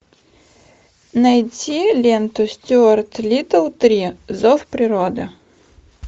найти ленту стюарт литтл три зов природы